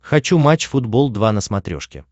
хочу матч футбол два на смотрешке